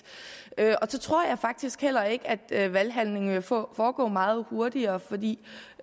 så tror jeg faktisk heller ikke at valghandlingen vil foregå meget hurtigere for vi